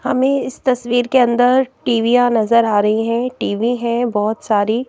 हमें इस तस्वीर के अंदर टीवियाँ नजर आ रही हैं टी_ वी_ हैं बहुत सारी।